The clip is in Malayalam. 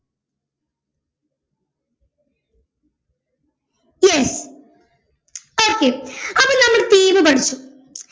yes okay അപ്പൊ നമ്മള് theme പഠിച്ചു